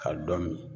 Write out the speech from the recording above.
Ka dɔ min